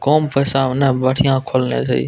कम पैसा में ने बढियाँ खोलले जाय ये।